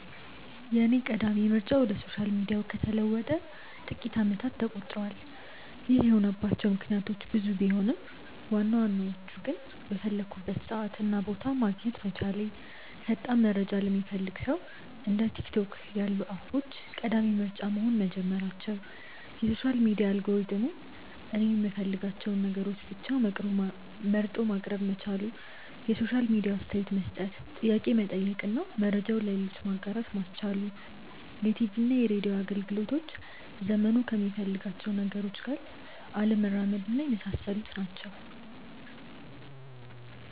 የኔ ቀዳሚ ምርጫ ወደ ሶሻል ሚዲያው ከተለወጠ ጥቂት አመታት ተቆጥረዋል። ይህ የሆነባቸው ምክንያቶች ብዙ ቢሆኑም ዋናዎቹ ግን:- በፈለኩበት ሰዓት እና ቦታ ማግኘት መቻሌ፣ ፈጣን መረጃ ለሚፈልግ ሰው እንደ ቲክቶክ ያሉ አፖች ቀዳሚ ምርጫ መሆን መጀመራቸው፣ የሶሻል ሚዲያ አልጎሪዝሙ እኔ የምፈልጋቸውን ነገሮች ብቻ መርጦ ማቅረብ መቻሉ፣ የሶሻል ሚዲያው አስተያየት መስጠት፣ ጥያቄ መጠየቅ እና መረጃውን ለሌሎች ማጋራት ማስቻሉ፣ የቲቪና ሬድዮ አገልግሎቶች ዘመኑ ከሚፈልጋቸው ነገሮች ጋር አለመራመድና የመሳሰሉት ናቸው።